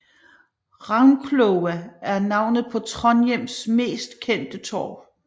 Ravnkloa er navnet på Trondheims mest kendte torv